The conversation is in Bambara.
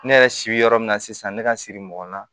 Ne yɛrɛ si bɛ yɔrɔ min na sisan ne ka siri mɔgɔ na